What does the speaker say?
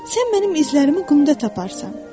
sən mənim izlərimi qumda taparsan.